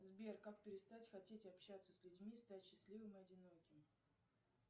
сбер как перестать хотеть общаться с людьми стать счастливым и одиноким